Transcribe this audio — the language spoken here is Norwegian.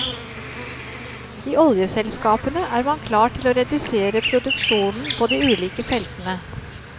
I oljeselskapene er man klar til å redusere produksjonen på de ulike feltene.